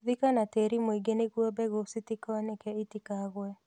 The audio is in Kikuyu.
Thika na tĩĩri mũingĩ nĩguo mbegũ citikonĩke itikagũe.